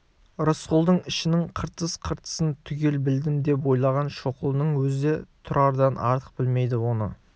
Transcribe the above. рысқұлдың ішінің қыртыс-қыртысын түгел білдім деп ойлаған шоқұлының өзі де тұрардан артық білмейді оны